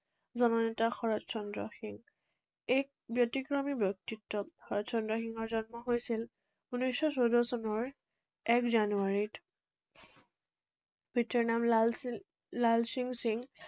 জননেতা শৰৎ চন্দ্ৰ সিংহ। এই ব্যতিক্ৰমী ব্যক্তিত্ব শৰৎ চন্দ্ৰ সিংহৰ জন্ম হৈছিল ঊনৈশশ চৈধ্য চনৰ এক জানুৱাৰীত। পিতৃৰ নাম লাল সিং লাল সিং সিংহ